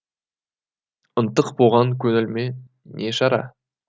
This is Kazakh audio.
ынтық болған көңіліме не шара